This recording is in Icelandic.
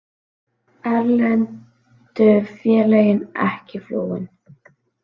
Erlendu félögin ekki flúin